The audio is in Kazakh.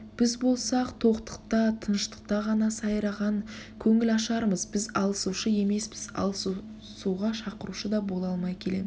біз болсақ тоқтықта тыныштықта ғана сайраған көңілашармыз біз алысушы емеспіз алысуға шақырушы да бола алмай келеміз